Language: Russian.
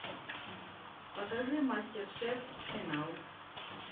покажи мастер шеф финал